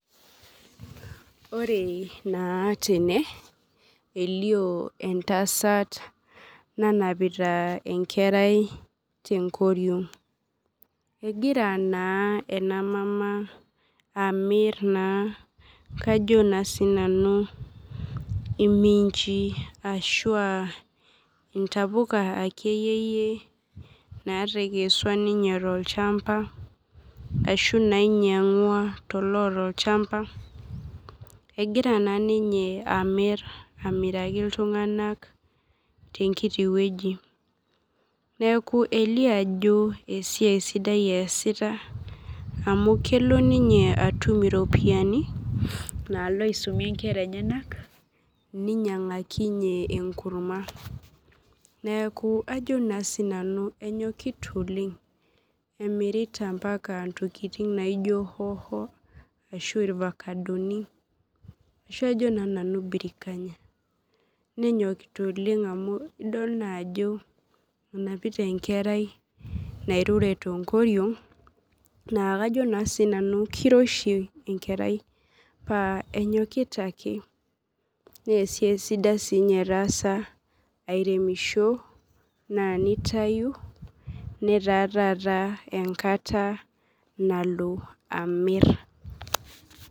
Ore na tene elio entasat nanapita enkerai tenkoriong egira na enamama amir na Kajo na sinanu iminchi ashu aa intapuka akeyie natekesua ninye tolchamba ashu nainyangua toloata olchamba, egira na ninye amiraki ltunganak tenkiti wueji neaku elio ajo esiai sidai easita amu kelo ninye atum iropiyiani nalo aisumie nkera enyenak ninyangakinye enkurma neaku ajo na sinanu enyokita oleng emirita ntokitin naijo hoho ashu irfakadoni kajo na nanu brikanya nenyokita oleng amu kajo na nanu enapita enkerai nairure tenkoriong na Kajo nanu kiroshi enkerai paa enyokita ake neasiai sidai e taasa airemisho nitaataa enkata nalo amir.